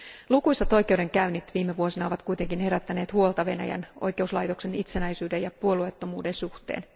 Lukuisat oikeudenkäynnit viime vuosina ovat kuitenkin herättäneet huolta Venäjän oikeuslaitoksen itsenäisyyden ja puolueettomuuden suhteen.